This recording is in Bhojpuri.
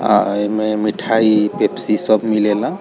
आ एमे मिठाई पेप्सी सब मिलेला।